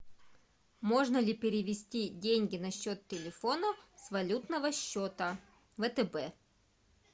можно ли перевести деньги на счет телефона с валютного счета втб